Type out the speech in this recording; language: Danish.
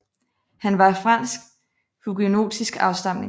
Han var af fransk huguenotisk afstamning